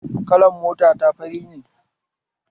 Kalan mota ta fari ne